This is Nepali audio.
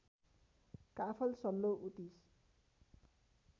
काफल सल्लो उतिस